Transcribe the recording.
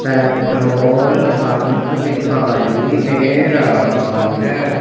Petrol pump दिखाई दे रहा है।